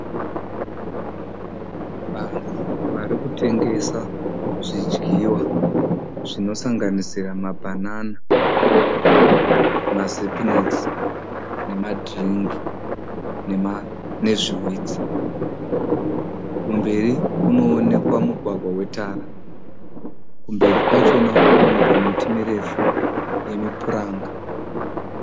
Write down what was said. Vanhu vari kutengesa zvidyiwa zvinosanganisira mabhanana, mazapnex nemadhiringi nezvihwitsi. Kumberi kunonekwa mugwagwa wetara kumberi kwachona konekwa miti yemupuranga.